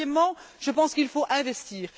Troisièmement, je pense qu'il faut investir.